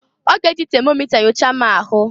Ọ g'e ji temomịta nyochaa m ahụ.